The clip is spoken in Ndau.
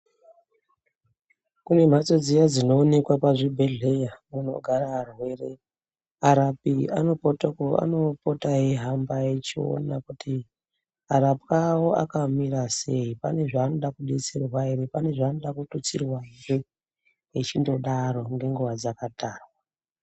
Kune mhatso dziya dzinonekwa pachibhedhleya dzinogara arwere. Arapi anopota eihamba echiona kuti arapwa avo akamira sei pane zvaanoda kubetserwa ere. Pane zvanoda kututsirwa ere echingodaro ngenguva dzakatarwa.